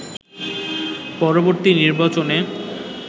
পরবর্তী নির্বাচনে